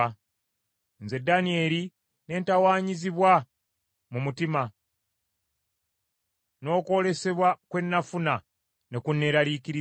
“Nze Danyeri ne ntawaanyizibwa mu mutima, n’okwolesebwa kwe nafuna ne kunneeraliikiriza.